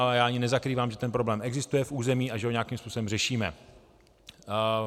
A já ani nezakrývám, že ten problém existuje v území a že ho nějakým způsobem řešíme.